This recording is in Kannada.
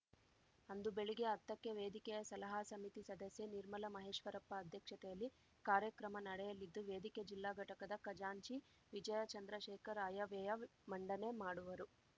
ಅಂದು ಬೆಳಿಗ್ಗೆ ಹತ್ತಕ್ಕೆ ವೇದಿಕೆಯ ಸಲಹಾ ಸಮಿತಿ ಸದಸ್ಯೆ ನಿರ್ಮಲ ಮಹೇಶ್ವರಪ್ಪ ಅಧ್ಯಕ್ಷತೆಯಲ್ಲಿ ಕಾರ್ಯಕ್ರಮ ನಡೆಯಲಿದ್ದು ವೇದಿಕೆ ಜಿಲ್ಲಾ ಘಟಕದ ಖಜಾಂಚಿ ವಿಜಯ ಚಂದ್ರಶೇಖರ ಆಯವ್ಯಯ ಮಂಡನೆ ಮಾಡುವರು